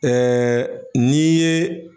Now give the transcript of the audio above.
n'i ye